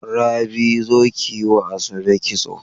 Rabi, zo kiyiwa Asabe kitson.